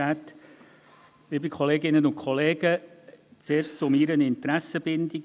Zuerst zu meiner Interessenbindung.